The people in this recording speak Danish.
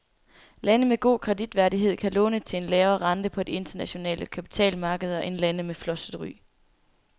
Lande med god kreditværdighed kan låne til en lavere rente på de internationale kapitalmarkeder end lande med flosset ry.